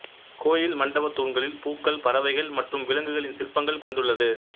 கோயில் மண்டபத் தூண்களில் பூக்கள் பறவைகள் மற்றும் விலங்குகளின் சிற்பங்கள் கொண்டுள்ளது